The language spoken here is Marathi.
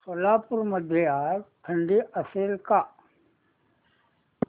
सोलापूर मध्ये आज थंडी असेल का